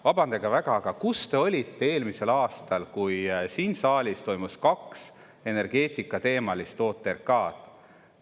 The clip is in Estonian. Vabandage väga, aga kus te olite eelmisel aastal, kui siin saalis toimus kaks energeetikateemalist OTRK-d?